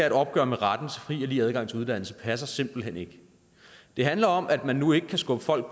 et opgør med retten til fri og lige adgang til uddannelse passer simpelt hen ikke det handler om at man nu ikke kan skubbe folk